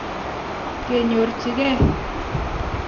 kenyorjigei.